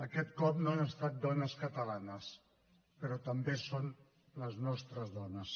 aquest cop no han estat dones catalanes però també són les nostres dones